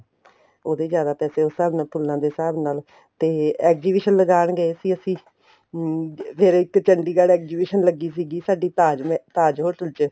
ਉਹਦੇ ਜਿਆਦਾ ਪੈਸੇ ਉਸ ਹਿਸਾਬ ਨਾਲ ਤੁਲਨਾ ਦੇ ਹਿਸਾਬ ਨਾਲ ਤੇ exhibition ਲਗਾਣ ਗਏ ਸੀ ਅਸੀਂ ਅਹ ਫ਼ੇਰ ਇੱਕ ਚੰਡੀਗੜ੍ਹ exhibition ਲੱਗੀ ਸੀਗੀ ਸਾਡੀ ਤਾਜ ਮਹਿਲ ਤਾਜ hotel ਚ